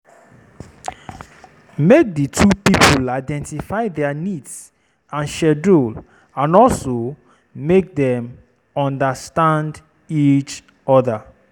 Make di two pipo identify their needs and schedule and also make them understand each other